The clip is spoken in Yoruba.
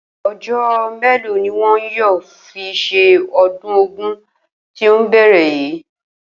O̩jó̩ mélòó ni wo̩n yóò fi s̩e o̩dún Ògún tí ó ń bè̩rè̩ yìí?